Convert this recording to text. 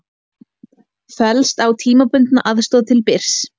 Fellst á tímabundna aðstoð til Byrs